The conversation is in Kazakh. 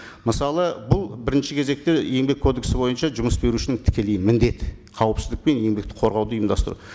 мысалы бұл бірінші кезекте еңбек кодексі бойынша жұмыс берушінің тікелей міндеті қауіпсіздік пен еңбекті қорғауды ұйымдастыру